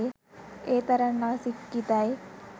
ඒතරං අසික්කිතයි